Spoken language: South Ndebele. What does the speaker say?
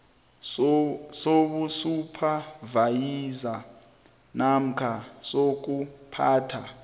sobusuphavayiza namkha sokuphatha